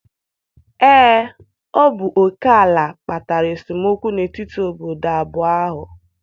Ee, ọ bụ oke ala kpatara esemokwu n'etiti obodo abụọ ahụ.